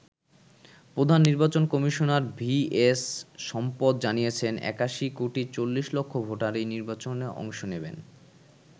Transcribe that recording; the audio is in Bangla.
প্রধান নির্বাচন কমিশনার ভি এস সম্পৎ জানিয়েছেন ৮১ কোটি ৪০ লক্ষ ভোটার এই নির্বাচনে অংশ নেবেন।